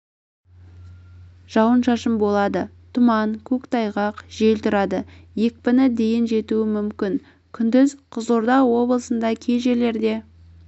жауын-шашын болады тұман көктайғақ жел тұрады екпіні дейін жетуі мүмкін күндіз қызылорда облысында кей жерлерде